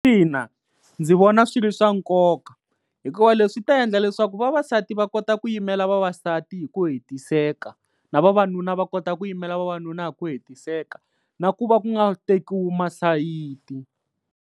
Ina ndzi vona swi ri swa nkoka hikuva leswi ta endla leswaku vavasati va kota ku yimela vavasati hi ku hetiseka. Na vavanuna va kota ku yimela vavanuna hi ku hetiseka na ku va ku nga tekiwi masayiti.